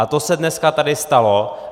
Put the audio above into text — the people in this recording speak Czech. A to se dneska tady stalo.